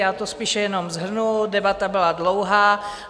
Já to spíše jenom shrnu, debata byla dlouhá.